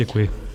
Děkuji.